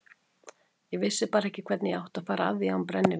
Ég vissi bara ekki hvernig ég átti að fara að því án brennivíns.